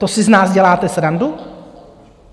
To si z nás děláte srandu?